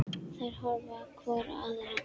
Þær horfa hvor á aðra.